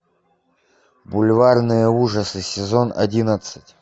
бульварные ужасы сезон одиннадцать